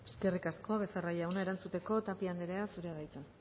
eskerrik asko becerra jauna erantzuteko tapia anderea zurea da hitza